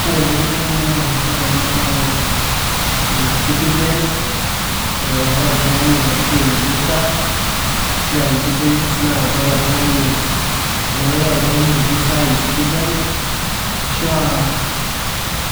ore eng'eno naata naipirrta ena baye e e citizen eh, ore oltung'ani ashu e evisa ashua e business naa ore oltung'ani teniaku iyata oltung'ani e visa e citizen ashua